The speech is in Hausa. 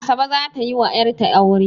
Asabe za ta yi wa 'yatra aure